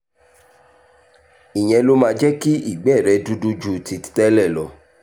ìyẹn ló máa jẹ́ kí ìgbẹ́ rẹ dúdú ju ti tẹ́lẹ̀ lọ